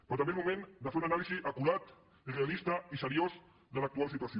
però també és moment de fer una anàlisi acurada realista i seriosa de l’actual situació